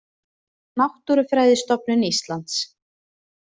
Náttúrufræðistofnun Íslands.